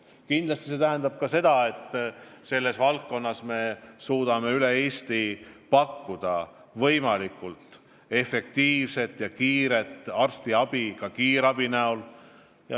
Kindlasti peame suutma üle Eesti pakkuda võimalikult efektiivset ja kiiret arstiabi, ka kiirabi.